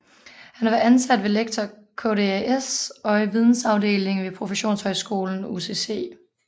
Han har været ansat som lektor ved KDAS og i vidensafdelingen ved professionshøjskolen UCC